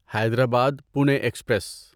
Hyderabad Pune express